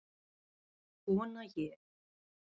Vona ég.